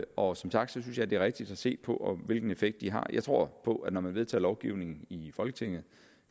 og som sagt synes jeg at det er rigtigst at se på hvilken effekt de har jeg tror på at når man vedtager lovgivning i folketinget